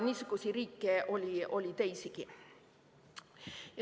Niisuguseid riike oli teisigi.